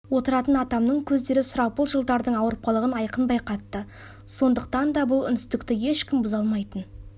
отыратын атамның көздері сұрапыл жылдардың ауырпалығын айқын байқатты сондықтан да бұл үнсіздікті ешкім бұза алмайтын